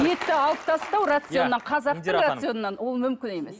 етті алып тастау рационнан қазақтың рационынан ол мүмкін емес